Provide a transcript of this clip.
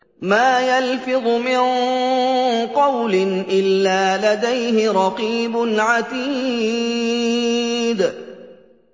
مَّا يَلْفِظُ مِن قَوْلٍ إِلَّا لَدَيْهِ رَقِيبٌ عَتِيدٌ